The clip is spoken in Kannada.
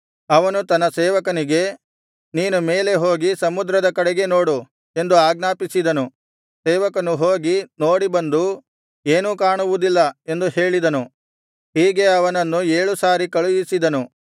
ಅವನು ತನ್ನ ಸೇವಕನಿಗೆ ನೀನು ಮೇಲೆ ಹೋಗಿ ಸಮುದ್ರದ ಕಡೆಗೆ ನೋಡು ಎಂದು ಆಜ್ಞಾಪಿಸಿದನು ಸೇವಕನು ಹೋಗಿ ನೋಡಿ ಬಂದು ಏನೂ ಕಾಣುವುದಿಲ್ಲ ಎಂದು ಹೇಳಿದನು ಹೀಗೆ ಅವನನ್ನು ಏಳು ಸಾರಿ ಕಳುಹಿಸಿದನು